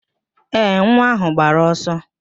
Ee, nwa áhụ̀ gbara ọsọ